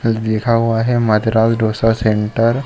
कुछ लिखा हुआ है मद्रास डोसा सेंटर ।